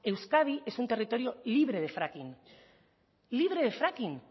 euskadi es un territorio libre de fracking libre de fracking